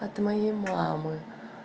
от моей мамы